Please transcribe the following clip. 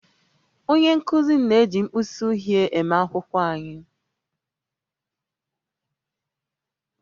Onye nkụzi m na-eji mkpịsị uhie eme akwụkwọ anyị